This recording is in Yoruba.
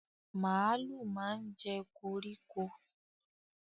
Màlúù máa ń jẹ́ koríko